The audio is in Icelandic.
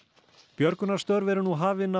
björgunarstörf eru nú hafin af